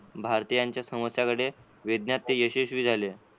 भारतीयांच्या समस्या कडे वेदनात यशस्वी झाली.